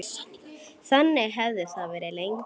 Þannig hefði það verið lengi.